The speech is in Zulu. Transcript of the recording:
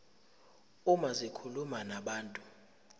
uma zikhuluma nabantu